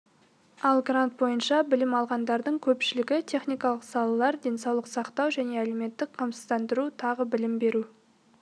ал грант бойынша білім алғандардың көпшілігі техникалық салалар денсаулық сақтау және әлеуметтік қамсыздандыру тағы білім беру